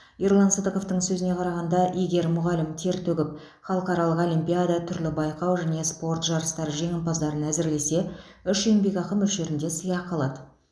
ерлан сыдықовтың сөзіне қарағанда егер мұғалім тер төгіп халықаралық олимпиада түрлі байқау және спорт жарыстары жеңімпазын әзірлесе үш еңбекақы мөлшерінде сыйақы алады